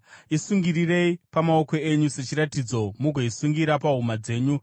Isungirirei pamaoko enyu sechiratidzo mugoisungira pahuma dzenyu.